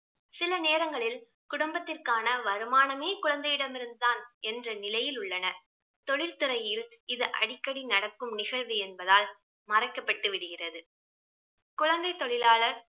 சில நேரங்களில் குடும்பத்திற்கான வருமானமே குழந்தை இடம் இருந்து தான் என்ற நிலையில் உள்ளனர். தொழிற்துறையில் இது அடிக்கடி நடக்கும் நிகழ்வு என்பதால் மறைக்கப்பட்டு விடுகிறது. குழந்தை தொழிலாளர்